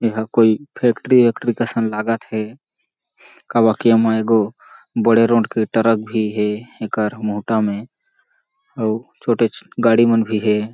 ए हा कोई फैक्ट्री वैक्ट्री कसन लागत हे काबर की ओमा एगो बड़े रोट के ट्रक भी हें एकर मोहटा में अउ छोटे छ गाड़ी मन भी हें।